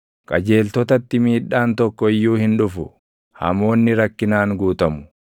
Qajeeltotatti miidhaan tokko iyyuu hin dhufu; hamoonni rakkinaan guutamu.